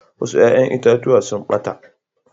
Wasu ƴa'ƴan itatuwa sun ɓata.